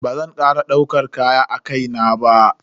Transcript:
Bazan kara daukar kaya a kai na ba.